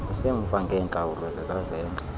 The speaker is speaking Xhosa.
usemva ngeentlawulo zezavenge